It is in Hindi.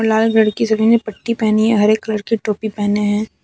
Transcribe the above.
लाल लड़की सभी ने पट्टी पहनी है हरे कलर की टोपी पहने है।